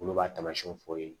Olu b'a taamasiyɛnw fɔ u ye